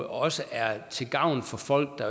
også er til gavn for folk der